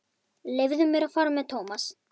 Leyfðu mér að fara með Thomas.